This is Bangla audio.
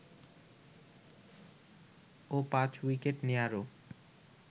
ও ৫ উইকেট নেয়ারও